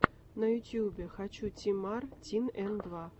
на ютубе хочу ти мар тин эн два